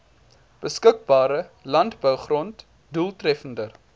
beskikbare landbougrond doeltreffender